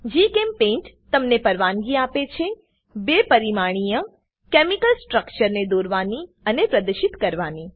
જીચેમ્પેઇન્ટ તમને પરવાનગી આપે છે બે પરિમાણીય કેમિકલ સ્ટ્રક્ચરને દોરવાની અને પ્રદશિત કરવાની